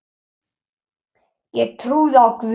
Ég trúi á Guð!